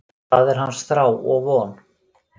Það er hans þrá og von.